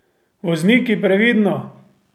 Vozniki previdno!